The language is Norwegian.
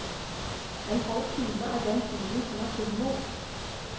En halv time er den tiden som er tilmålt.